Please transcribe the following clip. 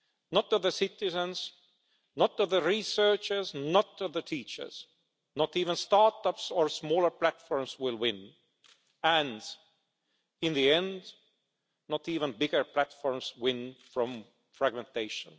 not the citizens, not the researchers, not the teachers, not even start-ups or smaller platforms will win, and in the end not even bigger platforms win from fragmentation.